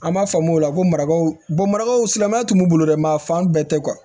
An b'a faamu o la ko marakaw marakaw silamɛnya tun bolo dɛ ma fan bɛɛ tɛ